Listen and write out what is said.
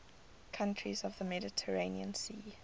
countries of the mediterranean sea